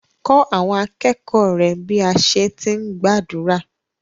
Kọ́ àwọn akẹ́kọ̀ọ́ rẹ bí à á ti gbàdúrà.